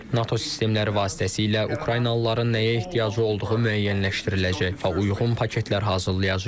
NATO sistemləri vasitəsilə Ukraynalıların nəyə ehtiyacı olduğu müəyyənləşdiriləcək və uyğun paketler hazırlayacağıq.